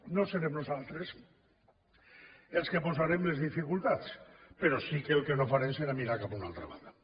no serem nosaltres els que posarem les dificultats però sí que el que no farem serà mirar cap a una altra banda